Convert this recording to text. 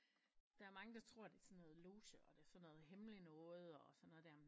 Der er mange der tror det er sådan noget loshe og det er sådan noget hemmeligt noget og sådan noget der